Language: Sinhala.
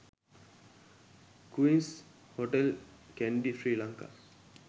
queens hotel kandy sri lanka